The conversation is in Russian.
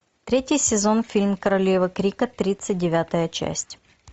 третий сезон фильм королева крика тридцать девятая часть